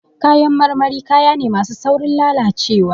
Kayan marmari, kaya ne masu saurin lalacewa.